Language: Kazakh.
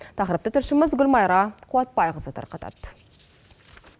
тақырыпты тілшіміз гүлмайра қуатбайқызы тарқатады